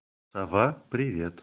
сова привет